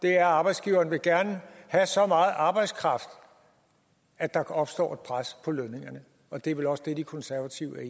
er at arbejdsgiveren gerne vil have så meget arbejdskraft at der opstår et pres på lønningerne og det er vel også det de konservative